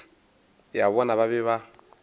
ya bona ba be ba